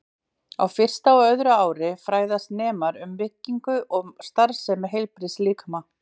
Á fyrsta og öðru ári fræðast nemar um byggingu og starfsemi heilbrigðs líkama.